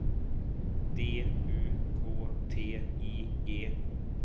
D U K T I G